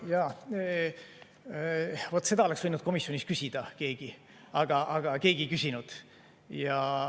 Jaa, vaat seda oleks võinud komisjonis keegi küsida, aga keegi ei küsinud.